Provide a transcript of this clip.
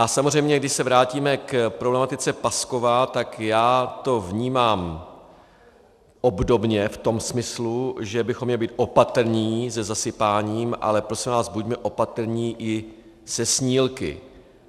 A samozřejmě když se vrátíme k problematice Paskova, tak já to vnímám obdobně v tom smyslu, že bychom měli být opatrní se zasypáním, ale prosím vás, buďme opatrní i se snílky.